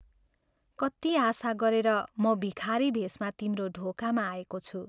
कति आशा गरेर म भिखारी भेषमा तिम्रो ढोकामा आएको छु।